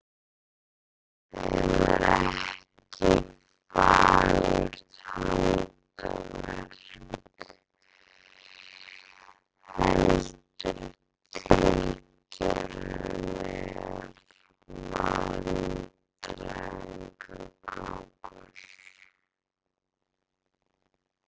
Þær voru ekki fagurt handverk heldur tilgerðarlegur vandræðagangur.